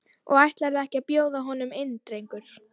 Og ætlarðu ekki að bjóða honum inn drengur?